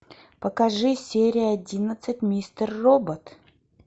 покажи серия одиннадцать мистер робот